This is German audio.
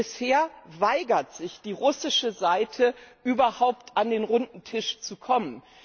Bisher weigert sich die russische Seite, überhaupt an den runden Tisch zu kommen.